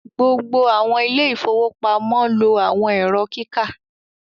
gbogbo àwọn Ilé ìfowópamọ́ lo àwọn Ẹ̀rọ kíkà